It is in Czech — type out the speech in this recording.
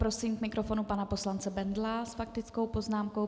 Prosím k mikrofonu pana poslance Bendla s faktickou poznámkou.